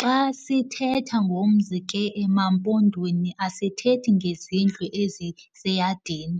Xa sithethe ngomzi ke emaMpondweni asithethi ngezindlu eziseyadini,